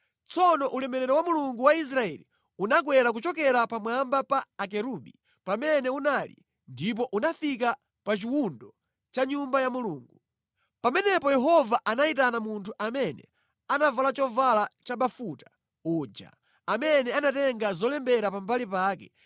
Tsono ulemerero wa Mulungu wa Israeli unakwera kuchokera pamwamba pa akerubi, pamene unali, ndipo unafika pa chiwundo cha Nyumba ya Mulungu. Pamenepo Yehova anayitana munthu amene anavala chovala chabafuta uja amene anatenga zolembera pambali pake